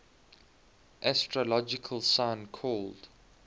astrological sign called